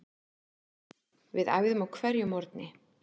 Við æfðum á hverjum morgni.